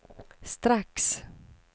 strax